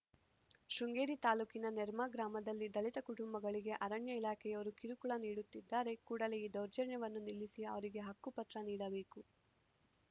ಶೃಂಗೇರಿ ತಾಲೂಕಿನ ನೆರ್ಮಾ ಗ್ರಾಮದಲ್ಲಿ ದಲಿತ ಕುಟುಂಬಗಳಿಗೆ ಅರಣ್ಯ ಇಲಾಖೆಯವರು ಕಿರುಕುಳ ನೀಡುತ್ತಿದ್ದಾರೆ ಕೂಡಲೇ ಈ ದೌರ್ಜನ್ಯವನ್ನು ನಿಲ್ಲಿಸಿ ಅವರಿಗೆ ಹಕ್ಕುಪತ್ರ ನೀಡಬೇಕು